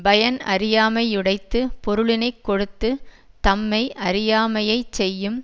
பயன் அறியாமை யுடைத்து பொருளினை கொடுத்து தம்மெய் அறியாமையைச் செய்யும்